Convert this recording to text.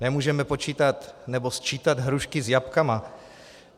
Nemůžeme počítat nebo sčítat hrušky s jablky.